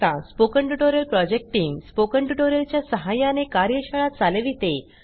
spoken tutorial project team spoken tutorial च्या सहाय्याने कार्यशाळा चालविते